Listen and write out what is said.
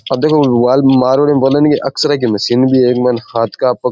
आ देखो मा मारवाड़ी में बोलेनि एक्सरे की मशीन भी है इक मायने हाथ का पग --